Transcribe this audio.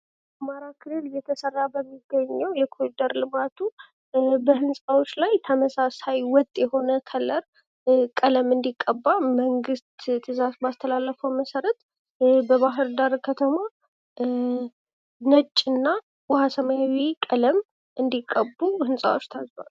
አማራ ክልል እየተሰራ በሚገኘው የኮሪደር ልማቱ በህንጻዎች ላይ ተመሳሳይ ወጥ የሆነ ከለር ቀለም እንድቀባ መንግስት ትዛዝ ባስተላለፈው መሠረት በባህርዳር ከተማ ነጭና ውሃ ሰማያዊ ቀለም እንድቀቡ ህንጻዎች ታዘዋል።